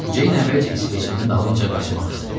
Ceyn əvvəlcə isveçlinin dalınca qaçmaq istədi.